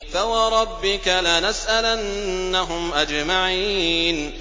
فَوَرَبِّكَ لَنَسْأَلَنَّهُمْ أَجْمَعِينَ